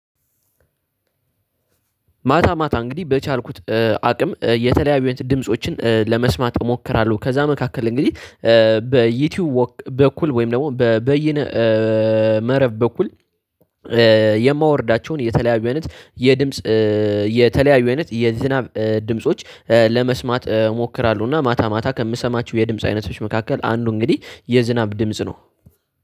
ማታ ማታ እንግዲህ በቻልኩት አቅም የተለያዩን ድምፆችን ለመስማት እሞክራለሁ። ከዛ መካከል እንግዲህ በዩቲዩብ በኩል ወይም ደግሞ በበይነ መረብ በኩል። የማወርዳቸውን የተለያዩ አይነት የድምጽ የተለያዩ አይነት የዝናብ ድምጾች ለመስማት እሞክራለሁ። እና ማታ ማታ ከምሰማችሁ የድምጽ አይነቶች መካከል አንዱ እንግዲህ የዝናብ ድምጽ ነው።